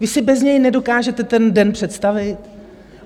Vy si bez něj nedokážete ten den představit?